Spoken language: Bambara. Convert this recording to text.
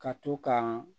Ka to ka